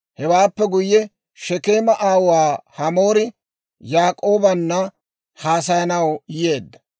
Hewaappe guyye, Shekeema aawuwaa Hamoori Yaak'oobanna haasayanaw yeedda.